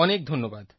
অনেক ধন্যবাদ